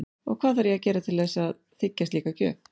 Og hvað þarf ég að gera til þess að þiggja slíka gjöf?